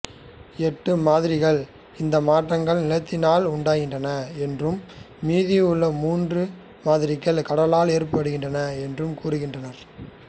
எட்டு மாதிரிகள் இந்த மாற்றங்கள் நிலத்தினால் உண்டாக்கின என்று மீதியுள்ள மூன்று மாதிரிகள் கடலால் ஏற்படுகின்றன என்றும் கூறுகின்றன